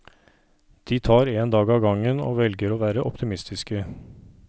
De tar en dag av gangen, og velger å være optimistiske.